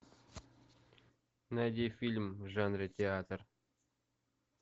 найди фильм в жанре театр